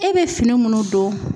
E be fini munnu don